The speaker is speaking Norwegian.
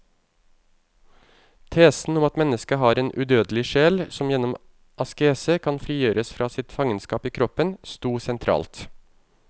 Tesen om at mennesket har en udødelig sjel som gjennom askese kan frigjøres fra sitt fangenskap i kroppen, stod sentralt.